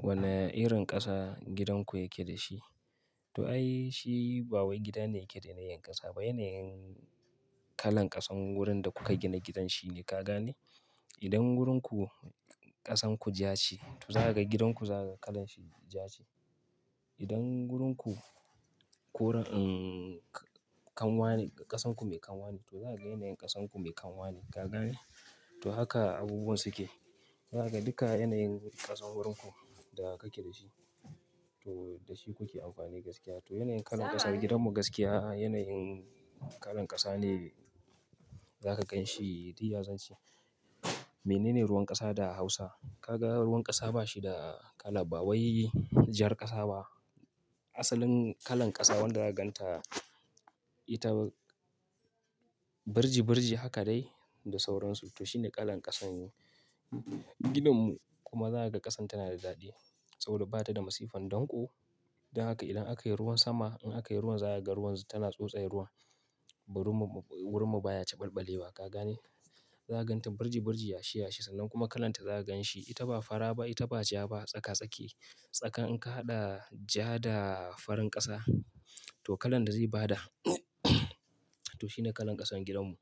Wane irin ƙasa gidan ku yake da shi? Toh ai shi ba wai gida ne yake da yanayin ƙasa ba, yanayin kalan ƙasan wurin da kuka gina gidan shine. Ka gane? Idan wurin ku ƙasan ku ja ce, toh za ka ga gidan ku za ka ga kalan shi ja ce. Idan wurin ku koren, umm, kanwa ne, ƙasan ku mai kanwa ne, toh za ka ga yanayin ƙasan ku mai kanwa ne. Ka gane? Toh haka abubuwan suke. Za kaga dukan yanayin ƙasan wurin ku da kake da shi toh da shi kuke amfani gaskiya. Toh yanayin kalan ƙasar gidanmu gaskiya, yanayin kalan ƙasa ne za ka gan shi, dai ya zance. Menene ruwan ƙasa da hausa? Ka ga ruwan ƙasa ba shi da kala, ba wai jar ƙasa ba. Asalin kalan ƙasa wanda za ka gan ta ita birji-birji haka dai da sauransu. Toh shi ne kalan ƙasan. Gidanmu kuma za ka ga ƙasan tana da daɗi. Saboda ba ta da masifan danƙo. Don haka idan aka yi ruwan sama, in aka yi ruwan za ka ga ruwan tana tsotsayar ruwan. Wurinmu, wurinmu baya ciɓalɓalewa. Ka gane? Za ka gan ta birji-birji, yashi-yashi sannan kuma kalan ta za ka gan shi. Ita ba fara ba, ita ba ja ba. Tsaka-tsake. Tsakan in ka haɗa ja da farin ƙasa toh kalan da zai ba da toh shi ne kalan ƙasan gidanmu.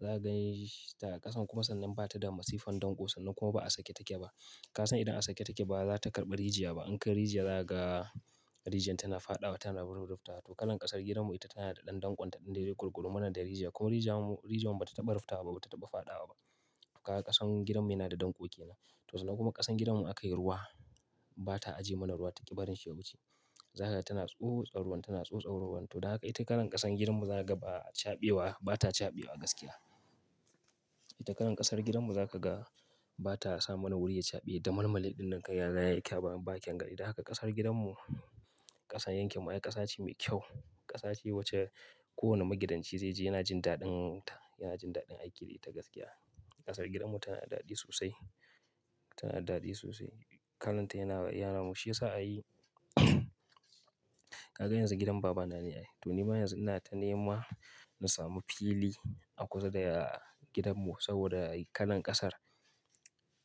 Za ka gansh ta ƙasan kuma sannan ba ta da masifan danƙo sannan kuma ba a sake take ba. Ka san idan a sake take ba za ta karɓa rijiya ba. In ka yi rijiya, za ka ga rijiyan tana fadawa, tana ruf rufta. Toh kalan ƙasar gidanmu ita tana da ɗan danƙon ta ɗin da yake gululu mana da rijiya. Ko rijiyar mu, rijiyar mu ba ta taɓa rufta ba, ba ta taɓa fadawa ba. Ka ga ƙasan gidanmu yana da danƙo ke nan. Toh sannan kuma ƙasan gidanmu in aka yi ruwa, ba ta ajiye mana ruwa. Ta ƙi barin shi ya wuce. Za ka ga tana tso, tsa ruwan tana tso, tsa ruwan. Toh don haka ita kalan ƙasan gidanmu za ka ga ba a chaɓewa, ba ta chaɓewa gaskiya. Ita kalan ƙasar gidanmu za ka ga ba ta sa mana wuri ya chaɓe da malmale ɗin da aka yaza ya yi ƙyaben bakin gari. Da haka ƙasar gidanmu ƙasa yankewa, ƙasa ce mai kyau. Ƙasa ce wacce kowane magidanci zai ji yana jin daɗin ta, yana jin daɗin aiki da ita gaskiya. Ƙasar gidanmu tana da daɗi sosai. Tana da daɗi sosai. Kalan ta yana yana mashi shi ya sa ai. Ka ga yanzu gidan baba na ne ai. Toh ni ma yanzu ina ta nema na samu fili a kusa da gidanmu saboda kalan ƙasar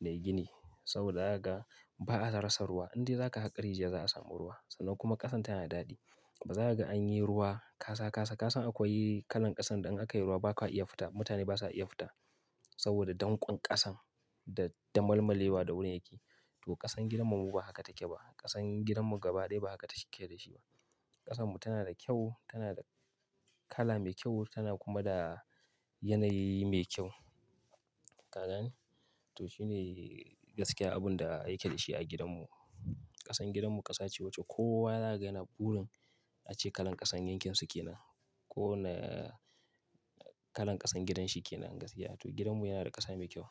nayi gini. Saboda haka ba a rasa ruwa. In dai za ka haƙa rijiya za a samu ruwa. Sannan kuma ƙasan tana da daɗi. Ba za ka ga an yi ruwa kasa kasa. Ka san akwai kalan ƙasan da in aka yi ruwa ba ka iya fita. Mutane ba su iya fita saboda danƙon ƙasan da malmale wa da wurin yake. Toh ƙasan gidanmu ba haka take ba. Ƙasan gidanmu gaba dai ba haka take da shi ba. Ƙasanmu tana da kyau, tana da kala mai kyau, tana kuma da yanayi mai kyau. Ka gane? Toh shi ne gaskiya abun da ake da shi a gidanmu. Ƙasan gidanmu ƙasa ce wacce kowa za ga yana burin ace kalan ƙasan yankin su ke nan. Ko na kalan ƙasan gidan shi ke nan gaskiya. To gidanmu yana da ƙasa mai kyau.